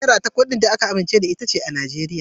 Naira ita ce kuɗin da aka amince da shi a Najeriya.